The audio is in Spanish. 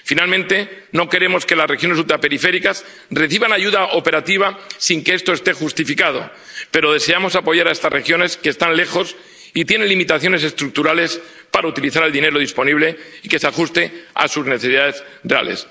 Finalmente, no queremos que las regiones ultraperiféricas reciban ayuda operativa sin que esto esté justificado, pero deseamos apoyar a estas regiones, que están lejos y tienen limitaciones estructurales, para utilizar el dinero disponible y que se ajuste a sus necesidades reales.